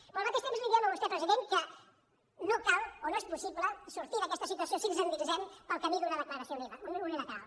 però al mateix temps li diem a vostè president que no cal o no és possible sortir d’aquesta situació si ens endinsem pel camí d’una declaració unilateral